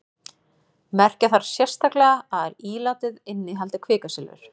merkja þarf sérstaklega að ílátið innihaldi kvikasilfur